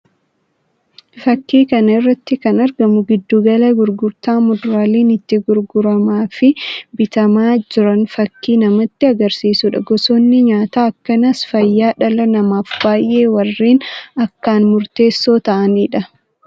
Fakkii kana irratti kan argamu giddu gala gurgurtaa muduraaleen itti gurguramaa fi bitamaa jiran fakkii namatti agarsiisuu dha. Gosoonni nyaataa akkanaas fayyaa dhala namaaf baayyee warreen akkaan murteessoo ta'anii dha.